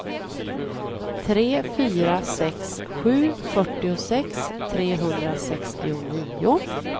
tre fyra sex sju fyrtiosex trehundrasextionio